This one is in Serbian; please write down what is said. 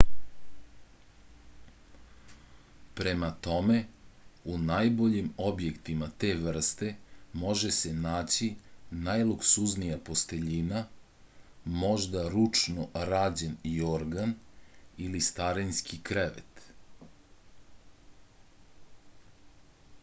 prema tome u najboljim objektima te vrste može se naći najluksuznija posteljina možda ručno rađen jorgan ili starinski krevet